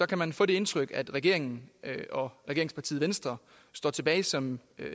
kan man få det indtryk at regeringen og regeringspartiet venstre står tilbage som